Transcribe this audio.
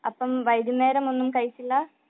അപ്പൊ വൈകുന്നേരം ഒന്നും കഴിച്ചില്ല